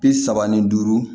Bi saba ni duuru